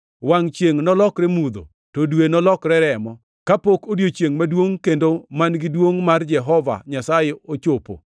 Wangʼ chiengʼ nolokre mudho to dwe nolokre remo, kapok odiechiengʼ maduongʼ kendo man-gi duongʼ mar Jehova Nyasaye ochopo.